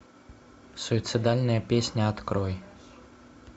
суицидальная песня открой